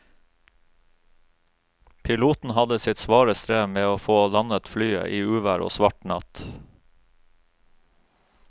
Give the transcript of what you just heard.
Piloten hadde sitt svare strev med å få landet flyet i uvær og svart natt.